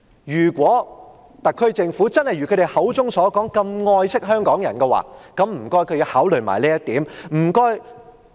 如果特區政府真的如他們口中所說那麼愛惜香港人，請他們也要考慮這一點。